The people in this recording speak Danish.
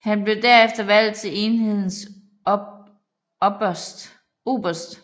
Han blev derefter valgt til enhedens opberst